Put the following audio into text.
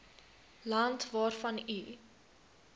land waarvan u